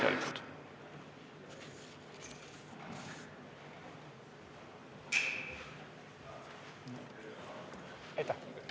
Palun nõusolek esitada ka kirjalikult!